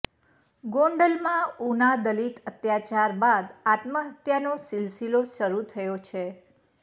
ગોંડલમાં ઉના દલિત અત્યાચાર બાદ આત્મહત્યાનો સિલસિલો શરૂ થયો છે